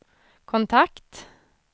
kontakt